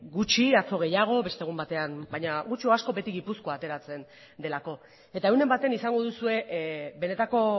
gutxi atzo gehiago beste egun batean baina gutxi edo asko beti gipuzkoa ateratzen delako eta egunen batean izango duzue benetako